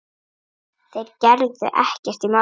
Þeir gerðu ekkert í málinu.